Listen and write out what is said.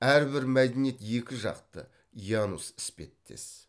әрбір мәдениет екіжақты янус іспеттес